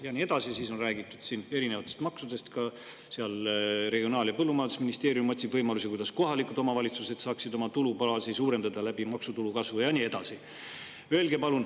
" Ja nii edasi, siis on räägitud siin erinevatest maksudest, sellest, et ka Regionaal- ja Põllumajandusministeerium otsib võimalusi, kuidas kohalikud omavalitsused saaksid oma tulubaasi suurendada maksutulu kasvu kaudu, ja nii edasi.